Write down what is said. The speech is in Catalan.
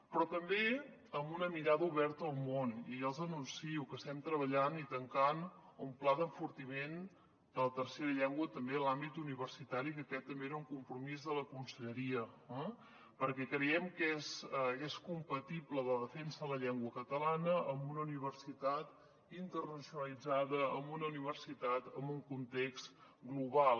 però també amb una mirada oberta al món i ja els anuncio que estem treballant i tancant un pla d’enfortiment de la tercera llengua també en l’àmbit universitari que aquest també era un compromís de la conselleria perquè creiem que és compatible la defensa la llengua catalana amb una universitat internacionalitzada amb una universitat en un context global